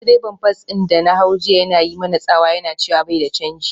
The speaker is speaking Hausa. Direban bas din da na hau jiya yana yi mana tsawa yana cewa bai da canji.